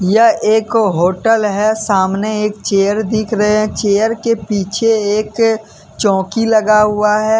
यह एक होटल है सामने एक चेयर दिख रहे है चेयर के पीछे एक चौकी लगा हुआ है।